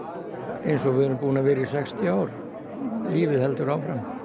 eins og við erum búin að vera í sextíu ár lífið heldur áfram